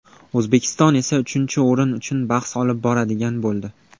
O‘zbekiston esa uchinchi o‘rin uchun bahs olib boradigan bo‘ldi.